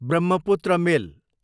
Brahmaputra मेल